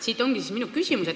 Siit minu küsimus.